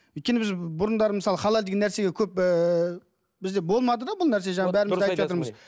өйткені біз бұрындары мысалы халал деген нәрсеге көп ы бізде болмады да бұл нәрсе жаңағы бәріміз де айтып жатырмыз